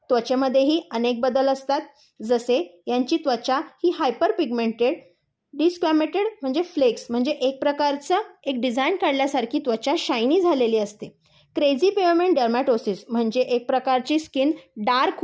त्वचेमध्येही अनेक बदल असतात. जसे यांची त्वचा ही हायपर पिग्मेंटेड, दिसत्यमेटेड म्हणजे फ्लेक्स एक प्रकारचा एक डिझाईन काढल्यासारखी त्वचा शायनी झालेली असते. क्रेजी पिरोमिड दर्मोंतोसिस म्हणजे एक प्रकारची स्कीन डार्क